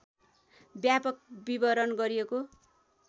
व्यापक विवरण गरिएको